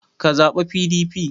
Ka zaɓa PDP!